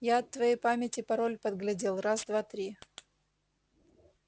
я от твоей памяти пароль подглядел раз два три